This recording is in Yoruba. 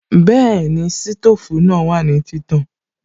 Bẹ́ẹ̀ni, sítòfù náà wà ní títàn